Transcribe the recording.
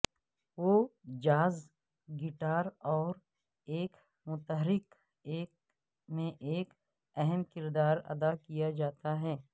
وہ jazz guitar اور ایک متحرک ایک میں ایک اہم کردار ادا کیا جاتا ہے